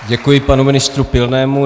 Děkuji panu ministru Pilnému.